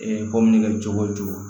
kɔmini kɛ cogo o cogo